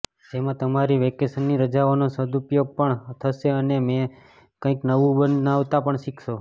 જેમાં તમારી વેકેશનની રજાઓનો સદુપયોગ પણ થશે અને તમે કંઈક નવું બનાવતા પણ શીખશો